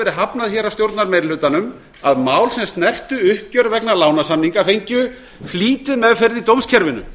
verið hafnað hér af stjórnarmeirihlutanum að mál sem snertu uppgjör vegna lánssamninga fengju flýtimeðferð í dómskerfinu